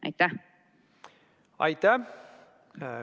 Aitäh!